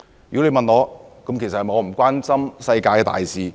如果你問我是否不關心世界大事？